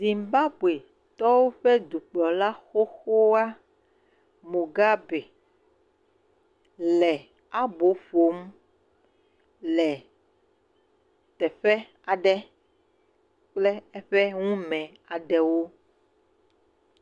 Zimbabuitɔwo ƒe dukplɔla xoxoa Mogabi le abo ƒom le teƒe aɖe kple eƒe ŋume aɖewo.